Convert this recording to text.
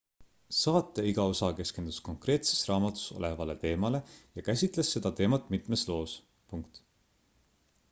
saate iga osa keskendus konkreetses raamatus olevale teemale ja käsitles seda teemat mitmes loos